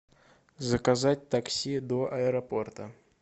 заказать такси до аэропорта